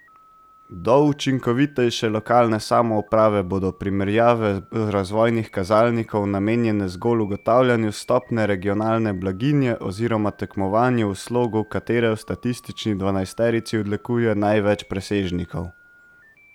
Do učinkovitejše lokalne samouprave bodo primerjave razvojnih kazalnikov namenjene zgolj ugotavljanju stopnje regionalne blaginje oziroma tekmovanju v slogu, katero v statistični dvanajsterici odlikuje največ presežnikov.